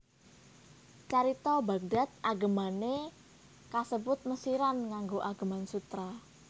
Carita Baghdad agemane kasebut Mesiran nganggo ageman sutra